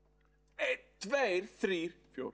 einn tveir þrír fjór